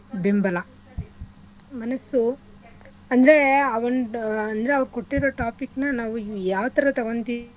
ಬೆಂಬಲ ಮನಸ್ಸು ಅಂದ್ರೆ ಆ ಒಂಡ್ ಅಂದ್ರೆ ಅವ್ರ್ ಕೊಟ್ಟಿರ topic ನ ಯಾವ್ಥರಾ ತೊಗೊಂತಿವಿ